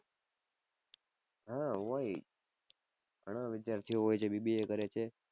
હાં હોય ઘણા વિદ્યાર્થીઓ હોય છે BBA કરે છે.